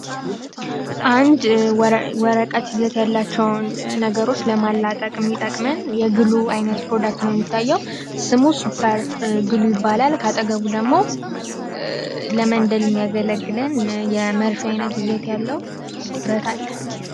አንድ ወረቀት ይዘት ያላቸዉን ነገሮች ለማላጠቅ እሚጠቅመን የግሉ አይኘት ፕሮዳክት ነዉ። እንደሚታየዉ ስሙ ሱፐር ግሉ ይባላል ካጠገቡ ደግሞ ለመንደል እሚያገለግልለን የመርፌ አይነት ይዘት ያለዉ ብረት አለ።